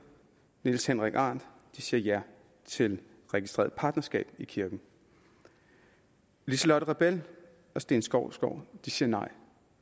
niels henrik arendt siger ja til registreret partnerskab i kirken lise lotte rebel og steen skovsgaard siger nej